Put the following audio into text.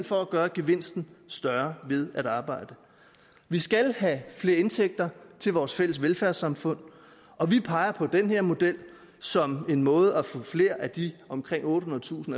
for at gøre gevinsten større ved at arbejde vi skal have flere indtægter til vores fælles velfærdssamfund og vi peger på den her model som en måde til at få flere af de omkring ottehundredetusind